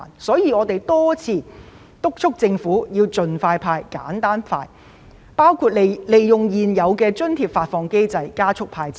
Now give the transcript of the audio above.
所以，我們多次敦促政府盡快"派錢"，程序亦要簡化，包括考慮利用現有的津貼發放機制加速"派錢"流程。